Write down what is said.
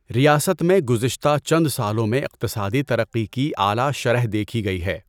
ریاست میں گذشتہ چند سالوں میں اقتصادی ترقی کی اعلیٰ شرح دیکھی گئی ہے۔